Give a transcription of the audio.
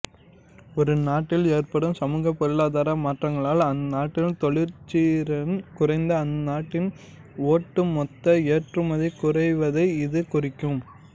ஒரு நாட்டில் ஏற்படும் சமூகப் பொருளாதார மாற்றங்களால் அந்நாட்டின் தொழிற்திறன் குறைந்து அந்நாட்டின் ஒட்டுமொத்த ஏற்றுமதி குறைவதை இது குறிக்கும்